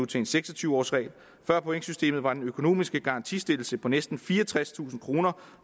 til en seks og tyve års regel før pointsystemet var den økonomiske garantistillelse på næsten fireogtredstusind kroner